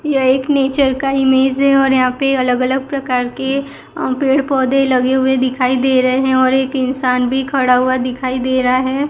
यह एक नेचर का इमेज है और यहां पे अलग अलग प्रकार के अ पेड़ पौधे लगे हुए दिखाई दे रहें और एक इंसान भी खड़ा हुआ दिखाई दे रहा है।